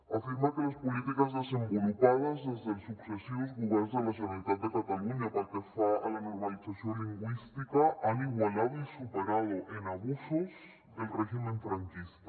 afirma que les polítiques desenvolupades des dels successius governs de la generalitat de catalunya pel que fa a la normalització lingüística han igualado y superado en abusos el régimen franquista